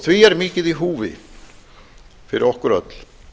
því er mikið í húfi fyrir okkur öll